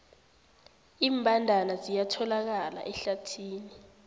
iimbandana ziyatholakala ehlathini